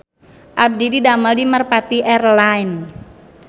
Abdi didamel di Merpati Air Lines